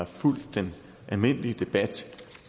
fulgt den almindelige debat